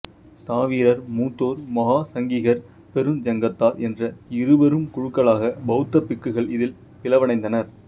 ஸ்தாவிரர் மூத்தோர் மகாசங்கிகர் பெருஞ்சங்கத்தார் என்ற இருபெரும் குழுக்களாக பௌத்த பிக்குகள் இதில் பிளவடைந்தனர்